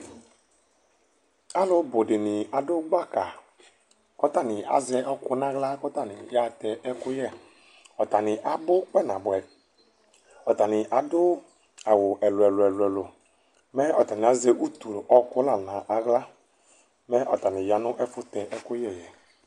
Alʋbʋ dini adʋ gbaka kʋ atani azɛ ɛkʋ nʋ aɣla kʋ atani yaxatɛ ɛkʋyɛ Ɔtani abʋ kpa nabʋɛ, atani adʋ awʋ ɛlʋ ɛlʋ ɛlʋ, mɛ ɔtani azɛ utu ɔkʋ lanʋ aɣla Mɛ ɔtani yanʋ ɛfʋtɛ ɛkʋyɛ yɛ